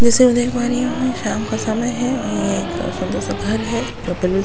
जैसे मैं देख पा रही हूं ये शाम का समय है और ये एक सुंदर सा घर है जो --